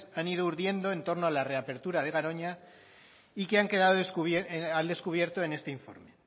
han ido urdiendo en torno a la reapertura de garoña y que han quedado al descubierto en este informe